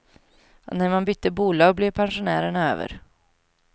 Och när man bytte bolag blev pensionärerna över.